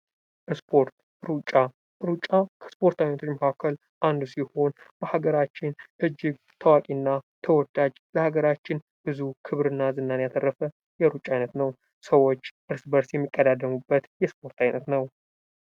ስፖርት ሩጫ ሩጫ ከስፖርታዊ መካከል አንዱ ሲሆን ፤ በሀገራችን እጅግ ታዋቂና ተወዳጅ በሀገራችን ብዙ ክብርና ዝናን ያተረፈ የሩጫ ዓይነት ነው። ሰዎች በእርስ በርስ የሚቀዳደሙበት የስፖርት ዓይነት ነው።